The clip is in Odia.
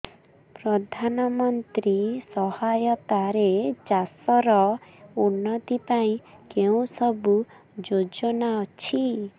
ପ୍ରଧାନମନ୍ତ୍ରୀ ସହାୟତା ରେ ଚାଷ ର ଉନ୍ନତି ପାଇଁ କେଉଁ ସବୁ ଯୋଜନା ଅଛି